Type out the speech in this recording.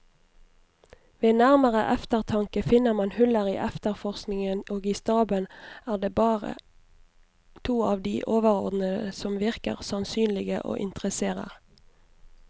Ved nærmere eftertanke finner man huller i efterforskningen, og i staben er det bare to av de overordnede som virker sannsynlige og interesserer.